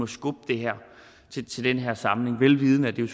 skubbe det her til den her samling velvidende at det